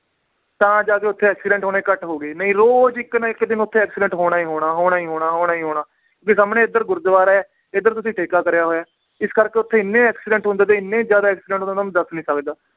ਤਾਂ ਜਾ ਕੇ ਓਥੇ accident ਹੋਣੇ ਘੱਟ ਹੋ ਗਏ ਨਈ ਰੋਜ ਇਕ ਨਾ ਇਕ ਦਿਨ ਓਥੇ accident ਹੋਣਾ ਈ ਹੋਣਾ, ਹੋਣਾ ਈ ਹੋਣਾ, ਹੋਣਾ ਈ ਹੋਣਾ ਵੀ ਸਾਮਣੇ ਏਧਰ ਗੁਰਦਵਾਰਾ ਏ ਏਧਰ ਤੁਸੀਂ ਠੇਕਾ ਕਰਿਆ ਹੋਇਆ ਏ, ਇਸ ਕਰਕੇ ਓਥੇ ਇੰਨੇ accident ਹੁੰਦੇ ਤੇ ਇੰਨੇ ਜ਼ਿਆਦਾ accident ਹੁੰਦੇ, ਤੁਹਾਨੂੰ ਦੱਸ ਨੀ ਸਕਦਾ